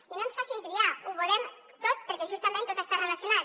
i no ens facin triar ho volem tot perquè justament tot està relacionat